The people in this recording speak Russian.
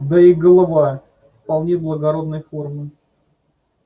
да и голова вполне благородной формы